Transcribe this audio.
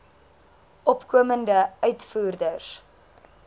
opkomende uitvoerders